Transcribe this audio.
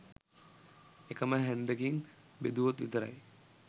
එකම හැන්දකින් බෙදුවොත් විතරයි